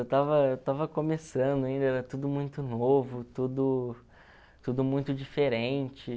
Eu estava estava começando ainda, era tudo muito novo, tudo tudo muito diferente.